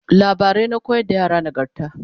labarai na koyar da yara nagarta